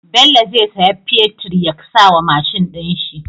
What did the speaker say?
Bello zai siya fetir ya sawa mashin din shi